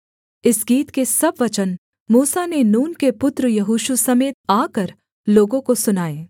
इस गीत के सब वचन मूसा ने नून के पुत्र यहोशू समेत आकर लोगों को सुनाए